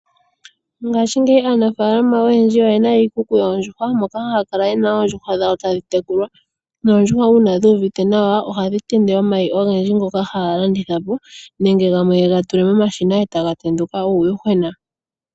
Ngaashingeyi aanafaalama oyendji oyena iikuku yoondjuhwa, moka haya kala yena oondjuhwa dhawo tadhitekulwa. Oondjuhwa uuna dhuuvite nawa, ohadhi tende omayi ogendji ngoka haga landithwa po nenge gamwe yega tule momashina etaga tenduka uuyuhwena.